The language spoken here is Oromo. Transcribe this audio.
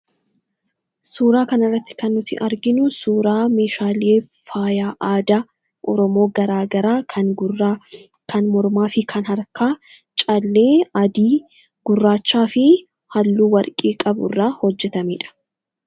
Suuraa kan irratti kan nuti arginu suuraa meeshaalee faaya aadaa Oromoo garaagaraa kan gurraa, kan mormaa fi kan harkaa callee adii, gurraachaa fi halluu warqee qabu irraa hojjetameedha.